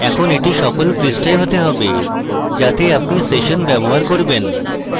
এখন এটি সকল পৃষ্ঠায় হতে হবে যাতে আপনি সেশন ব্যবহার করবেন